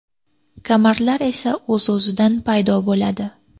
Kamarlar esa o‘z-o‘zidan paydo bo‘ladi.